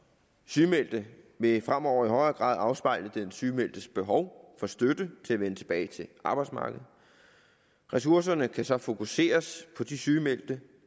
sygemeldte vil fremover i højere grad afspejle den sygemeldtes behov for støtte til at vende tilbage til arbejdsmarkedet ressourcerne kan så fokuseres på de sygemeldte